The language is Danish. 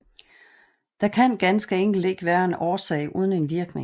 Den kan ganske enkelt ikke være en årsag uden en virkning